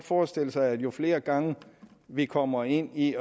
forestille sig at jo flere gange vi kommer ind i